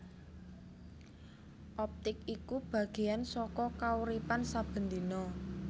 Optik iku bagéyan saka kauripan saben dina